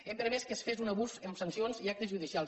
hem permès que es fes un abús amb sancions i actes judicials